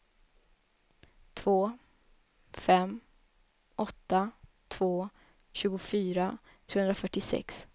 två fem åtta två tjugofyra trehundrafyrtiosex